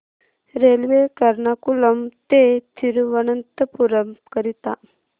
railway Ernakulam ते थिरुवनंतपुरम करीता